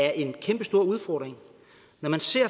er en kæmpestor udfordring når man ser